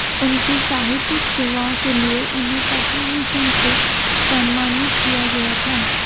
उनकी साहित्यिक सेवाओं के लिए उन्हें पद्मभूषण से सम्मानित किया गया था